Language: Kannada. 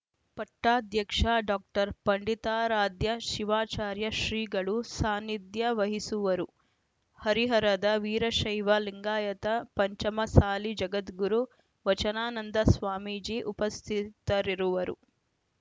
ಪಟ್ಟಾಧ್ಯಕ್ಷ ಡಾಕ್ಟರ್ ಪಂಡಿತಾರಾದ್ಯ ಶಿವಾಚಾರ್ಯ ಶ್ರೀಗಳು ಸಾನಿಧ್ಯ ವಹಿಸುವರು ಹರಿಹರದ ವೀರಶೈವ ಲಿಂಗಾಯತ ಪಂಚಮಸಾಲಿ ಜಗದ್ಗುರು ವಚನಾನಂದ ಸ್ವಾಮೀಜಿ ಉಪಸ್ಥಿತರಿರುವರು